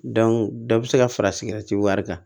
dɔ bɛ se ka fara sigɛrɛti wari kan